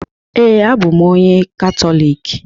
Ee, abụ m onye Katọlik